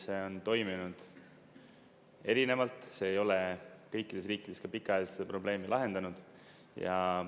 See on toiminud erinevalt, see ei ole kõikides riikides ka pikaajaliselt probleemi lahendanud.